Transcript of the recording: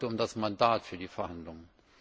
Es geht heute um das Mandat für die Verhandlungen.